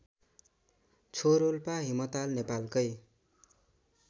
च्छोरोल्पा हिमताल नेपालकै